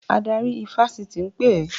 Adarí ifásitì ń pè ẹ́!